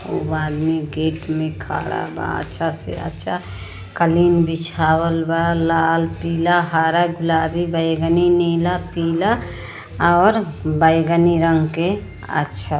वो आदमी गेट में खड़ा बा अच्छा से अच्छा कलिन बिछावल बा लाल पीला हरा गुलाबी बैगनी नीला पीला और बैगनी रंग के अच्छा --